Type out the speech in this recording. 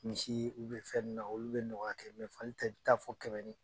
Misi fɛ nunnu na, olu bɛ nɔgɔya kɛ, fali taa i bɛ taa fɔ kɛmɛ ni